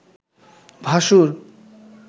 ভাসুর